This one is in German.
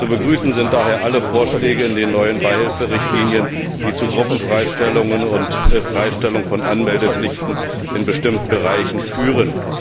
Zu begrüßen sind daher alle Vorschläge in den neuen Beihilferichtlinien, die zu Gruppenfreistellungen und zur Freistellung von Anmeldepflichten in bestimmten Bereichen führen.